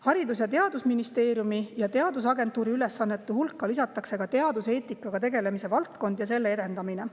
Haridus‑ ja Teadusministeeriumi ja teadusagentuuri ülesannete hulka lisatakse teaduseetikaga tegelemine ja selle edendamine.